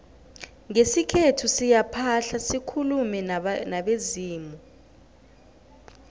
ngesikhethu siyaphahla sikulume nabezimu